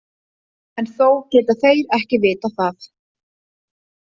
En þó geta þeir ekki vitað það.